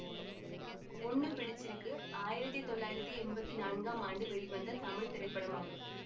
பொண்ணு பிடிச்சிருக்கு ஆயிரத்தி தொள்ளாயிரத்தி எம்பத்தி நான்காம் ஆண்டு வெளிவந்த தமிழ் திரைப்படமாகும்